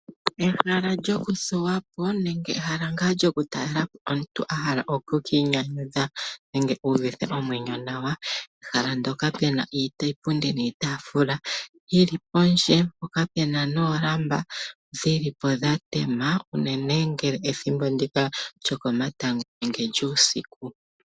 Ehala lyoku thuwapo nenge ehala ngaa lyoku talelapo uuna omuntu ahala oku inyanyadhu nenge u uvithe omwenyo nawa , pehala mpoka pena iipundi niitafula yili pondje mpoka pena noolamba dhilipo dha tema unene ethimbo lyokomatango nenge lyuusiku.